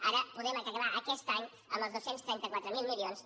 ara podem acabar aquest any amb els dos cents i trenta quatre mil milions